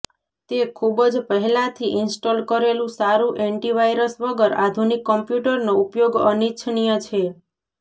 તે ખૂબ જ પહેલાથી ઇન્સ્ટોલ કરેલું સારું એન્ટીવાયરસ વગર આધુનિક કમ્પ્યુટરનો ઉપયોગ અનિચ્છનીય છે